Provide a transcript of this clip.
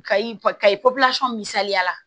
Kayi kayi posɔn misaliya la